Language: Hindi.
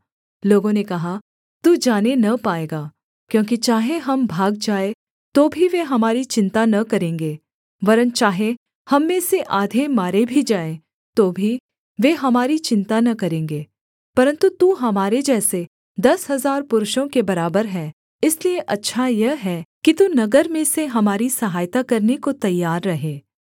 लोगों ने कहा तू जाने न पाएगा क्योंकि चाहे हम भाग जाएँ तो भी वे हमारी चिन्ता न करेंगे वरन् चाहे हम में से आधे मारे भी जाएँ तो भी वे हमारी चिन्ता न करेंगे परन्तु तू हमारे जैसे दस हजार पुरुषों के बराबर हैं इसलिए अच्छा यह है कि तू नगर में से हमारी सहायता करने को तैयार रहे